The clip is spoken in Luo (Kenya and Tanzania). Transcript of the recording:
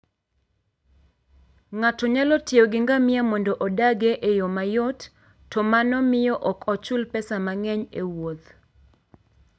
Ng'ato nyalo tiyo gi ngamia mondo odagie e yo mayot, to mano miyo ok ochul pesa mang'eny e wuoth.